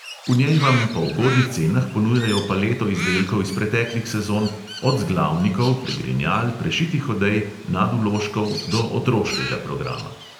V njej vam po ugodnih cenah ponujajo paleto izdelkov iz preteklih sezon, od zglavnikov, pregrinjal, prešitih odej, nadvložkov do otroškega programa.